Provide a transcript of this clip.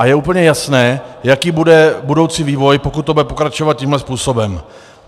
A je úplně jasné, jaký bude budoucí vývoj, pokud to bude pokračovat tímto způsobem.